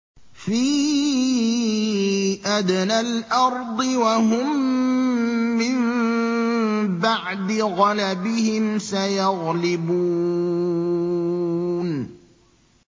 فِي أَدْنَى الْأَرْضِ وَهُم مِّن بَعْدِ غَلَبِهِمْ سَيَغْلِبُونَ